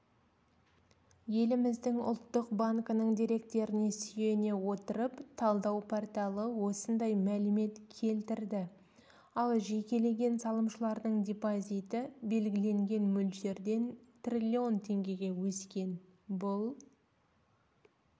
еліміздің ұлттық банкінің деректеріне сүйене отырып талдау порталы осындай мәлімет келтірді ал жекелеген салымшылардың депозиті белгіленген мөлшерден триллион теңгеге өскен бұл